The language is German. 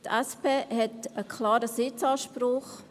Die SP hat einen klaren Sitzanspruch: